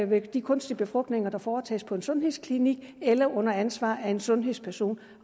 ved de kunstige befrugtninger der foretages på en sundhedsklinik eller under ansvar af en sundhedsperson